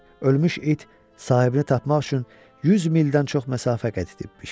Ölmüş it sahibini tapmaq üçün 100 mildən çox məsafə qət edibmiş.